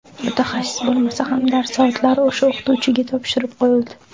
Mutaxassis bo‘lmasa ham dars soatlari o‘sha o‘qituvchiga topshirib qo‘yildi.